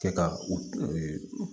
Kɛ ka u